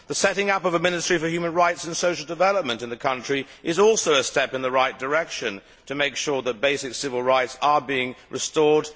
The setting up of a Ministry for Human Rights and Social Development is also a step in the right direction to make sure that basic civil rights are being restored